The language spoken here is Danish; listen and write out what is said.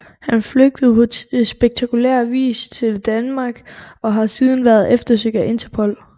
Han flygtede på spektakulær vis til Danmark og har siden været eftersøgt af Interpol